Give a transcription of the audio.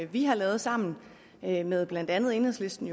vi har lavet sammen med blandt andet enhedslisten